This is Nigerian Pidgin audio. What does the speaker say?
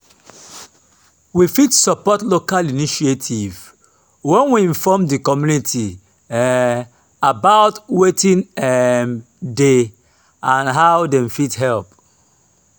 we fit support local initiative when we inform di community um about wetin um dey and how dem fit help